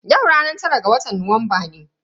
Yau ranar tara ga watan Nuwamba ne.